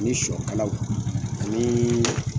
Ni sɔkalaw ani